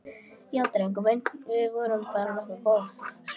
Já drengur minn, við vorum bara nokkuð góð!